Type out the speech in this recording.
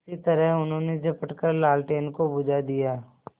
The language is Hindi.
उसी तरह उन्होंने झपट कर लालटेन को बुझा दिया